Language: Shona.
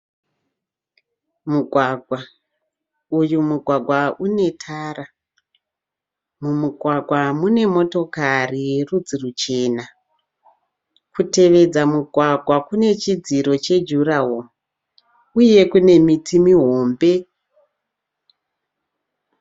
Mugwagwa. Uyu mugwagwa une tara. Mumugwagwa mune motokari yerudzi ruchena. Kutevedza mugwagwa kune chidziro chejuraworo uye kune miti mihombe.